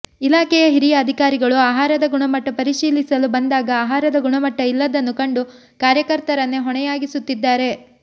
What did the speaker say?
ಇಲಾಖೆಯ ಹಿರಿಯ ಅಧಿಕಾರಿಗಳು ಆಹಾರದ ಗುಣಮಟ್ಟ ಪರಿಶೀಲಿಸಲು ಬಂದಾಗ ಆಹಾರದ ಗುಣಮಟ್ಟ ಇಲ್ಲದನ್ನು ಕಂಡು ಕಾರ್ಯಕರ್ತರನ್ನೇ ಹೊಣೆಯಾಗಿಸು ತ್ತಿದ್ದಾರೆ